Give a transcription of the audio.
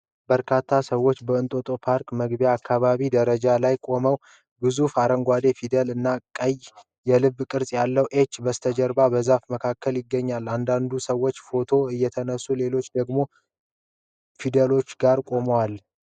በርካታ ሰዎች በ'እንጦጦ ፓርክ' መግቢያ አካባቢ ደረጃዎች ላይ ቆመዋል። ግዙፍ አረንጓዴ ፊደላት እና ቀይ የልብ ቅርጽ ያለው "H" በስተጀርባ በዛፍ መካከል ይገኛል። አንዳንድ ሰዎች ፎቶ እያነሱ ሌሎች ደግሞ ፊደሎቹ ጋር ቆመዋል።